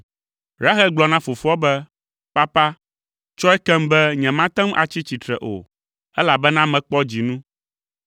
Rahel gblɔ na fofoa be, “Papa, tsɔe kem be nyemate ŋu atsi tsitre o, elabena mekpɔ dzinu.”